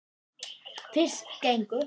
Fyrst gengu